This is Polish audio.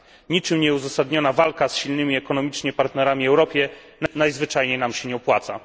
Niczym nieuzasadniona walka z silnymi ekonomicznie partnerami w Europie najzwyczajniej się nie opłaca.